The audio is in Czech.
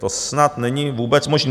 To snad není vůbec možné.